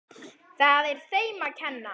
Og það er þeim að kenna.